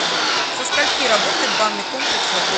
со скольки работает банный комплекс в отеле